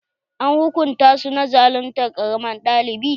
An hukunta su na zaluntar ƙaramin ɗalibi?